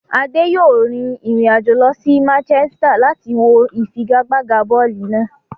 Ade yòó rin ìrìn àjò lọ sí Manchester láti wọ ìfigagbága bọ́ọ̀lù náà.